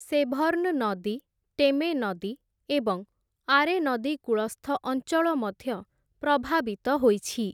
Severn ନଦୀ, Teme ନଦୀ ଏବଂ ଆରେ ନଦୀ କୂଳସ୍ଥ ଅଞ୍ଚଳ ମଧ୍ୟ ପ୍ରଭାବିତ ହୋଇଛି ।